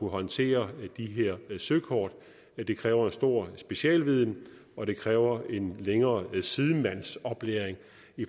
håndtere de her søkort det kræver en stor specialviden og det kræver en længere sidemandsoplæring